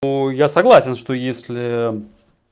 я согласен что если